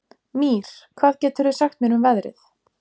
Mír, hvað geturðu sagt mér um veðrið?